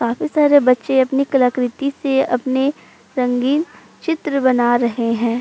काफी सारे बच्चे अपनी कलाकृति से अपनी रंगीन चित्र बना रहे हैं।